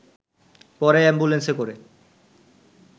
পরে অ্যাম্বুলেন্সে করে